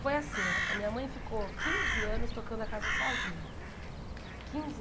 Foi assim ó, a minha mãe ficou quinze anos tocando a casa sozinha. Quinze